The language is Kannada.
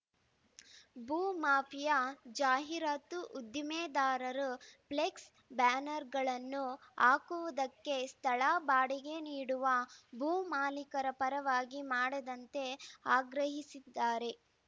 ಭೂ ಮಾಫಿಯಾ ಜಾಹೀರಾತು ಉದ್ಯಮೆದಾರರು ಫ್ಲೆಕ್ಸ್‌ ಬ್ಯಾನರ್‌ಗಳನ್ನು ಹಾಕುವುದಕ್ಕೆ ಸ್ಥಳ ಬಾಡಿಗೆ ನೀಡುವ ಭೂ ಮಾಲಿಕರ ಪರವಾಗಿ ಮಾಡದಂತೆ ಆಗ್ರಹಿಸಿದ್ದಾರೆ